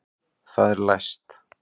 Það er læst!